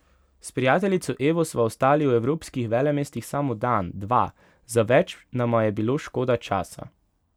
S prijateljico Evo sva ostali v evropskih velemestih samo dan, dva, za več nama je bilo škoda časa.